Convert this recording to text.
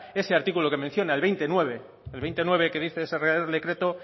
ese artículo que menciona el veinte punto nueve que dice ese real decreto